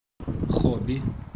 хобби